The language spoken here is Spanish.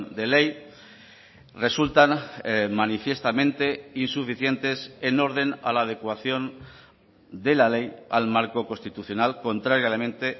de ley resultan manifiestamente insuficientes en orden a la adecuación de la ley al marco constitucional contrariamente